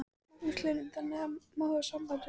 Magnús Hlynur: Þannig að fólk má hafa samband við þig?